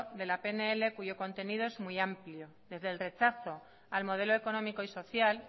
de la pnl cuyo contenido es muy amplio desde el rechazo al modelo económico y social